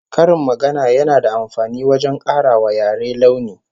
Karin magana yana da amfani wajen kara wa yare launi